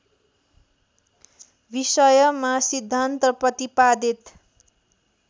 विषयमा सिद्धान्त प्रतिपादित